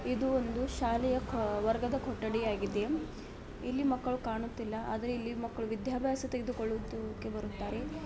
ಇದು ಒಂದು ಶಾಲೆಯ ವರ್ಗದ ಕೊಠಡಿ ಆಗಿದೆ ಇಲ್ಲಿ ಮಕ್ಕಳು ಕಾಣುತ್ತಿಲ್ಲ ಆದರೆ ಇಲ್ಲಿ ಮಕ್ಕಳು ವಿದ್ಯಾಭ್ಯಾಸ ತೆಗೆದುಕೊಳ್ಳೋದಕ್ಕೆ ಬರುತ್ತಾರೆ.